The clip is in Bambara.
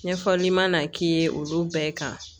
Ɲɛfɔli ma k'i ye olu bɛɛ kan